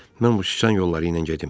Mən bu sıçan yolları ilə gedim.